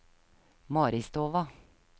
Maristova